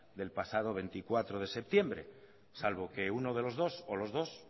del pasado veinticuatro de septiembre salvo que uno de los dos o los dos